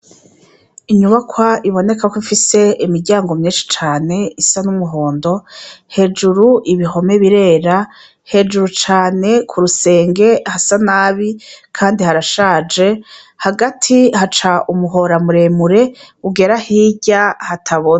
Inyubakwa ibonekako ifise imiryango myinshi cane isa n'umuhondo hejuru ibihome birera hejuru cane ku rusenge hasa nabi, kandi harashaje hagati haca umuhoramuremure ugera hirya hatabone.